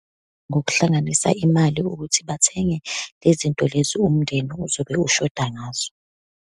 Ngokuhlanganisa imali ukuthi bathenge le zinto lezi umndeni ozobe ushoda ngazo.